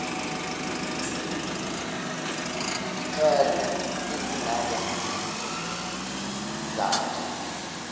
izikhalo ezingaba yizizathu